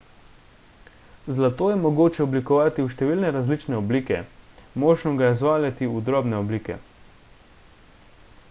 zlato je mogoče oblikovati v številne različne oblike možno ga je zvaljati v drobne oblike